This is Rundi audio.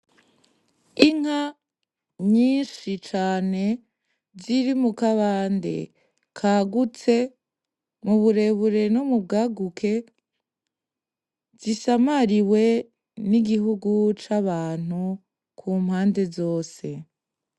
Inka nyishi cane ziri mu kabande kagutse mu burebure no mu bwaguke zisamariwe n'igihugu c'abantu ku mpande zose.